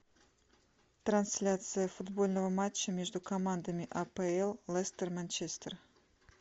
трансляция футбольного матча между командами апл лестер манчестер